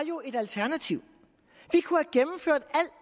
jo et alternativ